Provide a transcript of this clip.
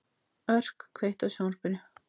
Örk, kveiktu á sjónvarpinu.